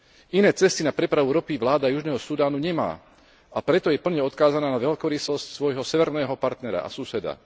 Iné cesty na prepravu ropy vláda Južného Sudánu nemá, a preto je plne odkázaná na veľkorysosť svojho severného partnera a suseda.